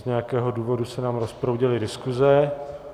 Z nějakého důvodu se nám rozproudily diskuze.